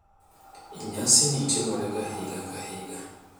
Nyasini timorega higa ka higa.